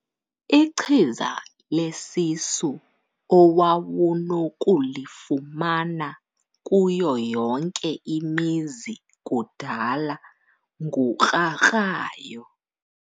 Ichiza lesisu owawunokulifumana kuyo yonke imizi kudala ngukrakrayo.